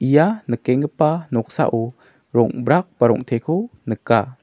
ia nikenggipa noksao rong·brak ba rong·teko nika.